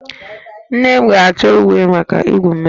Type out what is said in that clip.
Nne m ga-achọ uwe maka igwu mmiri